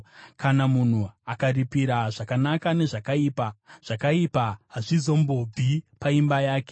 Kana munhu akaripira zvakanaka nezvakaipa zvakaipa hazvizombobvi paimba yake.